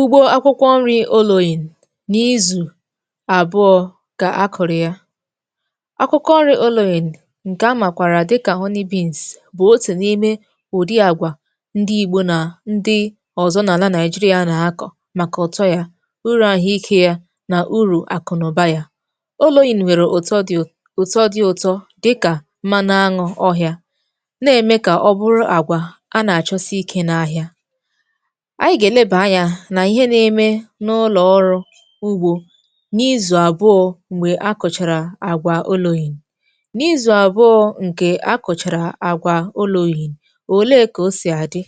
Ugbo akwụkwọ nri̇ oloyin nà izù àbụọ kà akụ̀rụ̀ ya. Akwụkọ nri̇ oloyin ǹkè amàkwàrà dịkà bụ̀ otu̇ n’ime ụ̀dị àgwà ndị igbò nà ndị ọ̀zọ n’àlà nigeria nà-akọ̀ màkà ụ̀tọ ya, urù àhụikė ya nà urù àkụ̀nụ̀ba ya. Oloyin nwèrè ụ̀tọ dị̇, ụ̀tọ dị ụtọ dịkà mmanụ aṅụ̇ ọhịȧ, na-ème kà ọ bụrụ àgwà a nà-àchọsi ikė n’ahịa. Anyi̇ gà-èleba anyȧ nà ihe na-eme n’ụlọ̀ ọrụ̇ ugbȯ n’izù àbụọ̇ m̀gbè akọ̀chàrà àgwà oloyin. N’izù àbụọ̇ ǹkè akọ̀chàrà àgwà oloyin, òle kà o sì àdị?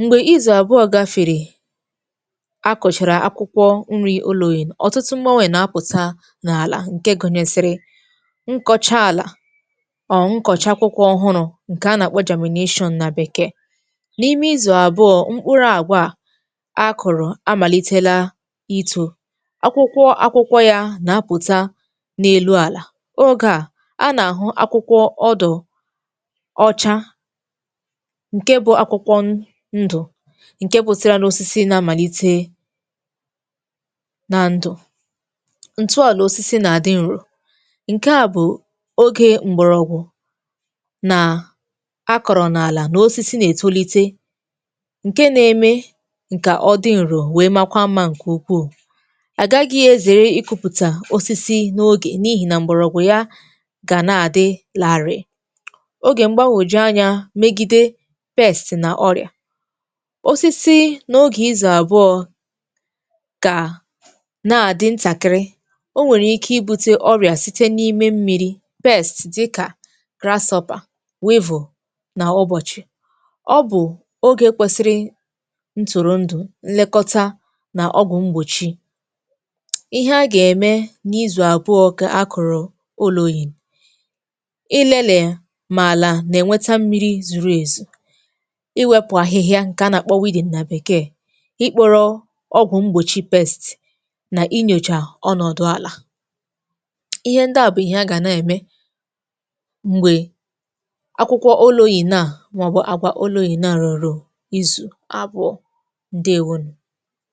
Mgbè izù àbụọ̇ gafèrè akọ̀chàrà akwụkwọ nri oloyin, ọtụtụ m̀gbanwe nà-apụ̀ta n’àlà ǹke gụ̀nyèsị̀rị̀ nkọcha àlà, ọ̀ nkọ̀chàkwụkwọ ọhụrụ̇ ǹkè a nà-àkpọ nà bekee. N'ime izu abụọ, mkpụrụ àgwà akọrọ a amàlitela ito. Akwụkwọ akwụkwọ̇ ya nà-apụ̀ta n’elu àlà, ogè a anà-àhụ akwụkwọ ọdụ̀ ọcha ǹke bụ akwụkwọ ndụ̀ ǹke wụsila n’osisi na-amàlite na ndụ̀, ǹtụọlà osisi nà-àdị ǹro. Nke à bụ̀ oge m̀gbọ̀rọ̀gwụ̀ nà a kọ̀rọ̀ n’àlà nà osisi nà-ètolite, nke na-eme ǹkà ọ dị ǹrò wee makwa mmȧ ǹkè ukwuù, agagịghị ezère ikùpùtà osisi n’ogè n’ihì nà mbọ̀rọ̀gwụ̀ ya gà na-àdị larịị̀, ogè mgbagwòju anyȧ megide [ca] nà ọrị̀à, osisi n’ogè izù àbụọ̇ kà na-àdị ntàkịrị, o nwèrè ike i bute ọrị̀à site n’ime mmi̇ri̇ dịkà, nà ụbọ̀chị̀. Ọ bụ̀ ogè kwesiri ntụ̀rụ̀ ndụ̀, nlekọtà nà ọgwụ̀ mgbòchi. Ihe a gà-ème n’izù àbụọ ka a kọrọ olọ̀yìn: Ị lelee mà àlà nà-ènweta mmiri zuru èzù, iwėpụ̀ ahịhịà ǹkè a nà-àkpọ nà bèkee, ikpȯrȯ ọgwụ̀ mgbòchi nà inyòchà ọnọ̀dụ̀ àlà. Ihe ndi à bụ̀ ihe a gà na-ème m̀gbè akwụkwọ oloyin a, maọbu àgwà oloyina rọ̀rọ̀ izù abụọ, ǹdewonu.